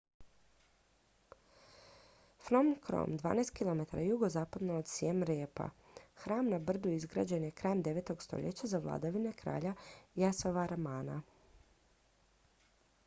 phnom krom 12 km jugozapadno od siem reapa hram na brdu izgrađen je krajem 9. stoljeća za vladavine kralja yasovarmana